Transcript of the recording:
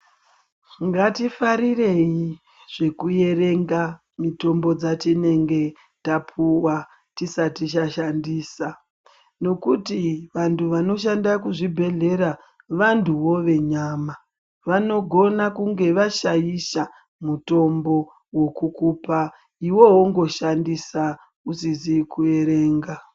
Ngatifarirei zvekuerenga mitombo dzatinenge tapuwa tisati tashandisa. Nokuti vantu vanoshanda muzvibhedhlera vantuwo venyama. Vanogona kunge vashaisha mutombo wekukupa iwewe wongoshandisa usizi kuerenga.